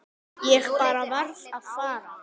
Ég bara varð að fara.